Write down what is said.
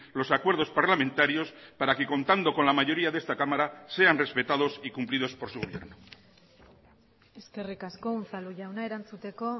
los acuerdos parlamentarios para que contando con la mayoría de esta cámara sean respetados y cumplidos por su gobierno eskerrik asko unzalu jauna erantzuteko